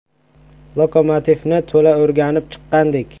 “Lokomotiv”ni to‘la o‘rganib chiqqandik.